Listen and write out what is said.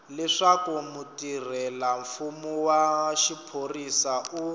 leswaku mutirhelamfumo wa xiphorisa u